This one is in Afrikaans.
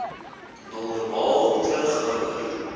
normaal terug ouer